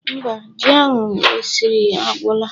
Mba, ji ahụ esiri agwụla.